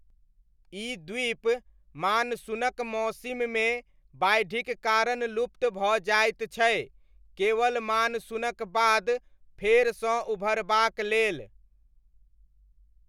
ई द्वीप मानसूनक मौसिममे बाढ़िक कारण लुप्त भऽ जाइत छै केवल मानसूनक बाद फेरसँ उभरबाक लेल।